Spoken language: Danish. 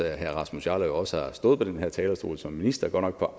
at herre rasmus jarlov også har stået på den her talerstol som minister godt nok på